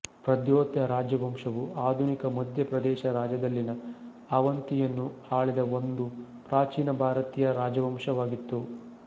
ಪ್ರದ್ಯೋತ ರಾಜವಂಶವು ಆಧುನಿಕ ಮಧ್ಯ ಪ್ರದೇಶ ರಾಜ್ಯದಲ್ಲಿನ ಅವಂತಿಯನ್ನು ಆಳಿದ ಒಂದು ಪ್ರಾಚೀನ ಭಾರತೀಯ ರಾಜವಂಶವಾಗಿತ್ತು